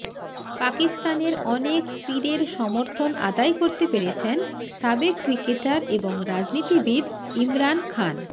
পাকিস্তানের অনেক পীরের সমর্থন আদায় করতে পেরেছেন সাবেক ক্রিকেটার এবং রাজনীতিবিদ ইমরান খান